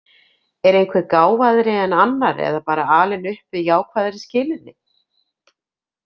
Er einhver gáfaðri en annar eða bara alinn upp við jákvæðari skilyrði?